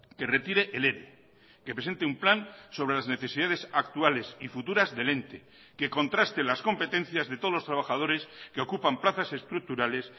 que retire el ere que presente un plan sobre las necesidades actuales y futuras del ente que contraste las competencias de todos los trabajadores que ocupan plazas estructurales